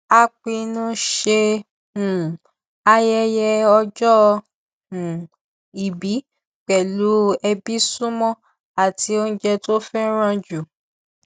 a pinnu ṣe um ayẹyẹ ọjọ um ìbí pẹlú ẹbí súnmọ àti oúnjẹ tó fẹràn jù